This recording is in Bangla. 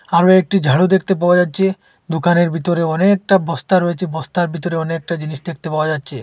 আরো একটি ঝাড়ু দেখতে পাওয়া যাচ্ছে দুকানের ভেতরে অনেকটা বস্তা রয়েছে বস্তার ভিতরে অনেকটা জিনিস দেখতে পাওয়া যাচ্ছে।